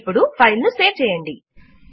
ఇప్పుడు ఫైల్ ను సేవ్ చేయండి